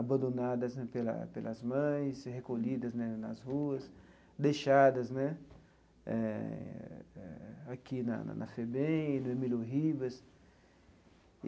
abandonadas né pela pelas mães, recolhidas né nas ruas, deixadas né eh aqui na na FEBEM, no Emílio Ribas.